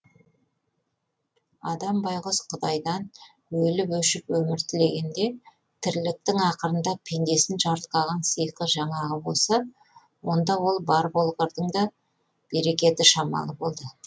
адам байғұс құдайдан өліп өшіп өмір тілегенде тірліктің ақырында пендесін жарылқаған сиқы жаңағы болса онда ол бар болғырдың да берекеті шамалы болды